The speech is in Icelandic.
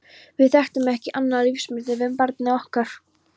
Við þekktum ekki annað lífsmunstur með barni okkar.